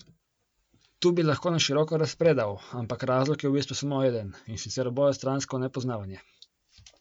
Tu bi lahko na široko razpredal, ampak razlog je v bistvu samo eden, in sicer obojestransko nepoznavanje.